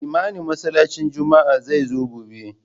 Limamin masallacin juma'a zai zo gobe